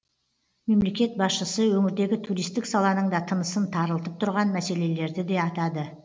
мемлекет басшысы өңірдегі туристік саланың да тынысын тарылтып тұрған мәселелерді де атады